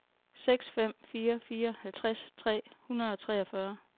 seks fem fire fire halvtreds tre hundrede og treogfyrre